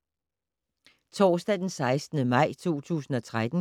Torsdag d. 16. maj 2013